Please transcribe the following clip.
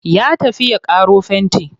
Ya tafi ya ƙaro fenti.